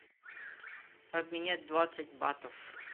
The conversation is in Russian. обменять двадцать батов